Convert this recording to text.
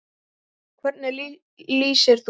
Hvernig lýsir þú þér?